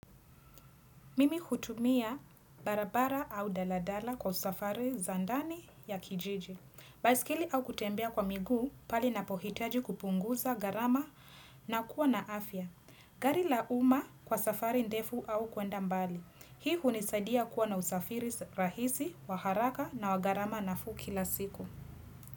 Mimi hutumia barabara au daladala kwa safari za ndani ya kijiji. Baiskeli au kutembea kwa miguu pahali napohitaji kupunguza gharama na kuwa na afya. Gari la uma kwa safari ndefu au kwenda mbali. Hii hunisadia kuwa na usafiri rahisi, wa haraka na wa gharama nafuu kila siku.